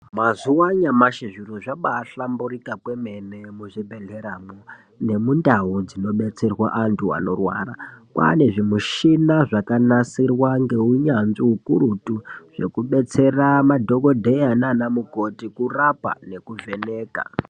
Mazuva anyamashi zviro zvabahlamburuka kwemene muzvibhedhleramwo nemundau dzinobetserwa antu anorwara kwane zvimushini zvakanasirwa neunyanzvi ukurutu zvekudetsera madhokodheya nana mukoti kurapa nekuvheneka.